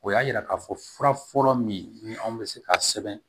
O y'a yira k'a fɔ furafɔlɔ min ni anw bɛ se ka sɛbɛn